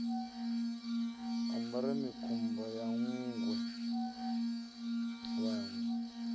ambara mikumba ya nṋgwe vhanwe